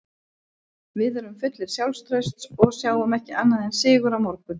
Við erum fullir sjálfstrausts og sjáum ekki annað en sigur á morgun.